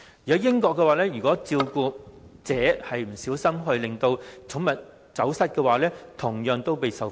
在英國，照顧者不小心讓寵物走失，同樣會受罰。